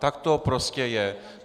Tak to prostě je.